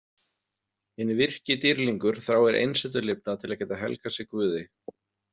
Hinn virki dýrlingur þráir einsetulifnað til að geta helgað sig guði.